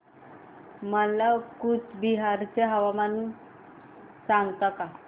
मला कूचबिहार चे हवामान सांगता का